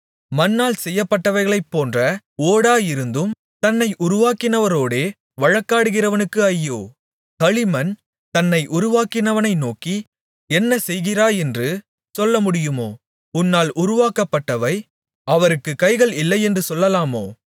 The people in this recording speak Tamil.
மண்ணால் செய்யப்பட்டவைகளைப்போன்ற ஓடாயிருந்தும் தன்னை உருவாக்கினவரோடே வழக்காடுகிறவனுக்கு ஐயோ களிமண் தன்னை உருவாக்கினவனை நோக்கி என்ன செய்கிறாயென்று சொல்லமுடியுமோ உன்னால் உருவாக்கப்பட்டவை அவருக்குக் கைகள் இல்லையென்று சொல்லலாமோ